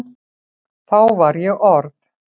Þá var ég orð